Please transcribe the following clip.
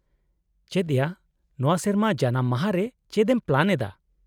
-ᱪᱮᱫ ᱭᱟ, ᱱᱚᱶᱟ ᱥᱮᱨᱢᱟ ᱡᱟᱱᱟᱢ ᱢᱟᱦᱟ ᱨᱮ ᱪᱮᱫ ᱮᱢ ᱯᱞᱮᱱ ᱮᱫᱟ ?